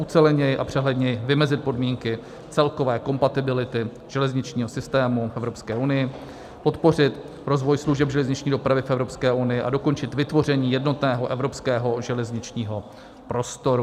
Uceleněji a přehledněji vymezit podmínky celkové kompatibility železničního systému v Evropské unii, podpořit rozvoj služeb železniční dopravy v Evropské unii a dokončit vytvoření jednotného evropského železničního prostoru.